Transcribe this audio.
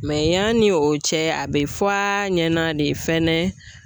Mɛ yanni o cɛ, a bɛ fɔ a ɲɛna de fɛnɛ